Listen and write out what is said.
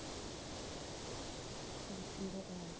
six zero ah